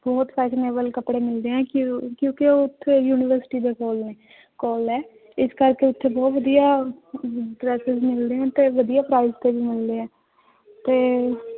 ਬਹੁਤ fashionable ਕੱਪੜੇ ਮਿਲਦੇ ਹੈ ਕਿਉਂ ਕਿਉਂਕਿ ਉੱਥੇ university ਦੇ ਕੋਲ ਹੈ ਕੋਲ ਹੈ ਇਸ ਕਰਕੇ ਉੱਥੇ ਬਹੁਤ ਵਧੀਆ dresses ਮਿਲਦੇੇ ਹੈ ਤੇ ਵਧੀਆ price ਤੇ ਵੀ ਮਿਲਦੇ ਹੈ ਤੇ